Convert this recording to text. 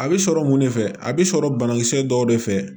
A bɛ sɔrɔ mun de fɛ a bɛ sɔrɔ banakisɛ dɔw de fɛ